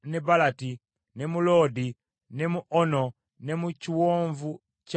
ne mu Loodi ne mu Ono, ne mu kiwonvu kya babumbi.